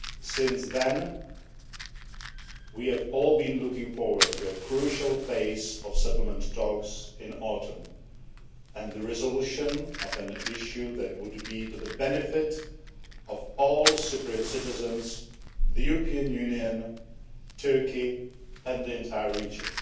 Since then, we have all been looking forward to a crucial phase of settlement talks in the autumn and the resolution of an issue that would be to the benefit of all Cypriot citizens, the European Union, Turkey and the entire region.